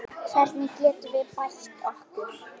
Hvernig getum við bætt okkur?